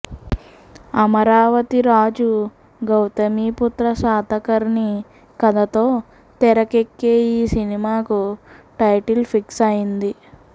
అమరావతి రాజు గౌతమి పుత్రా శాతకర్ణి కథతో తెరకేక్కే ఈ సినిమాకు టైటిల్ ఫిక్స్ అయింది